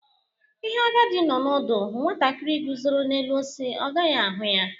Ihe agadi nnọ ódu hụu, nwatakiri guzọrọ n'elu osisi ọ gaghi ahụ ya.